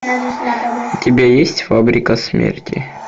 у тебя есть фабрика смерти